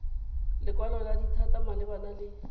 lekwalo la dithata malebana le